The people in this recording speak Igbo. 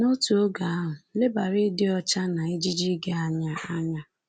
N’otu oge ahụ, lebara ịdị ọcha na ejiji gị anya. anya.